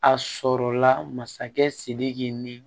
A sɔrɔla masakɛ sidiki ni